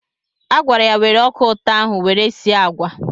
Agwara ya were ọka ụtọ ahụ were sie agwa!